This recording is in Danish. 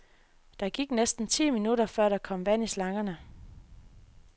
Der gik næsten ti minutter, før der kom vand i slangerne.